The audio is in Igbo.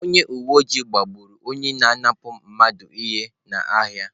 Onye uwe ojii gbagburu onye na-apụnara mmadụ ihe n’ahịa.